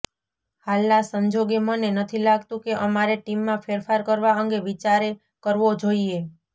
હાલના સંજોગે મને નથી લાગતું કે અમારે ટીમમાં ફેરફાર કરવા અંગે વિચારે કરવો જોઈએ